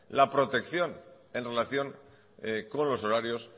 la protección en relación con los horarios